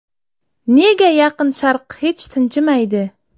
Nega Yaqin Sharq hech tinchimaydi?